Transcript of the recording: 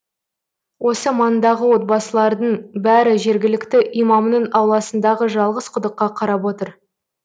осы маңдағы отбасылардың бәрі жергілікті имамның ауласындағы жалғыз құдыққа қарап отыр